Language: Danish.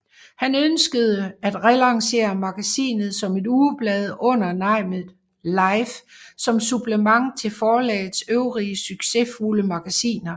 Han ønskede at relancere magasinet som et ugeblad under navnet LIFE som supplement til forlagets øvrige succesfulde magasiner